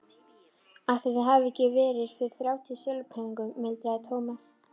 Ætli það hafi ekki verið fyrir þrjátíu silfurpeninga muldraði Thomas.